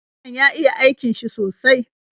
Lauyan ya iya aikin shi sosai